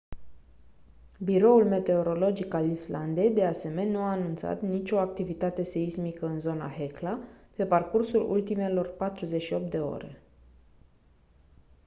biroul meteorologic al islandei de asemeni nu a anunțat nicio activitate seismică în zona hekla pe parcursul ultimelor 48 de ore